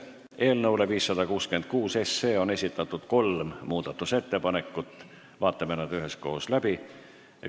Eelnõu 566 kohta on esitatud kolm muudatusettepanekut, vaatame need üheskoos läbi.